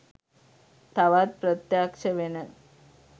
තවත් ප්‍රත්‍යක්ශ වෙන.